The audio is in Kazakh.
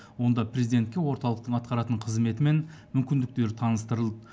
онда президентке орталықтың атқаратын қызметі мен мүмкіндіктері таныстырылды